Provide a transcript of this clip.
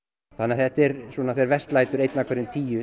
þetta er þegar verst lætur einn af hverjum tíu